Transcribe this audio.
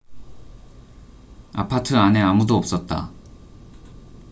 아파트 안에 아무도 없었다